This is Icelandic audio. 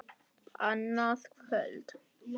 Annað kvöld!